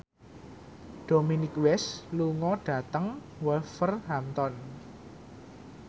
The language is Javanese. Dominic West lunga dhateng Wolverhampton